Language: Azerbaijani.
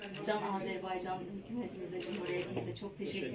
Can Azərbaycan hökumətimizə, ölkəyə də çox təşəkkür edirəm.